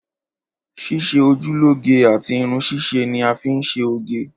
Ṣíṣe ojú lóge àti Irun ṣíṣe níí a fi ń ńṣe oge.